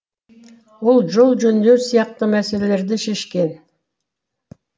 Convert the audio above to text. ол жол жөндеу сияқты мәселелерді шешкен